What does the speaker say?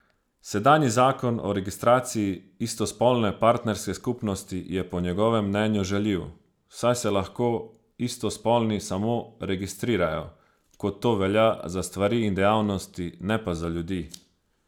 Sedanji zakon o registraciji istospolne partnerske skupnosti je po njegovem mnenju žaljiv, saj se lahko istospolni samo registrirajo, kot to velja za stvari in dejavnosti, ne pa za ljudi.